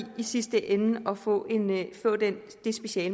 sidste ende at få det speciale